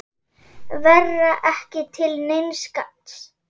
Vera ekki til neins gagns.